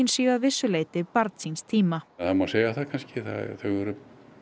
séu að vissu leyti barn síns tíma það má segja það kannski þau eru